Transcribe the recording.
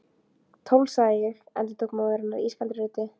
Tólf, sagði ég endurtók móðir hennar ískaldri röddu.